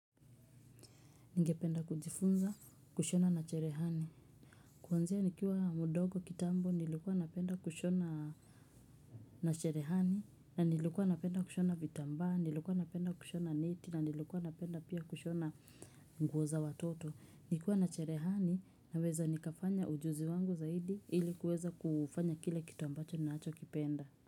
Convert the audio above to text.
Ningependa kujifunza kushona na cherehani. Kuanzia nikiwa mdogo kitambo nilikuwa napenda kushona na cherehani na nilikuwa napenda kushona vitambaa, nilikuwa napenda kushona neti na nilikuwa napenda pia kushona nguo za watoto. Nikiwa na cherehani naweza nikafanya ujuzi wangu zaidi ili kuweza kufanya kile kitu ambacho ninacho kipenda.